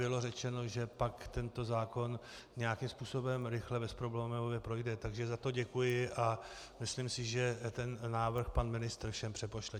Bylo řečeno, že pak tento zákon nějakým způsobem rychle bez problémů projde, takže za to děkuji a myslím si, že ten návrh pan ministr všem přepošle.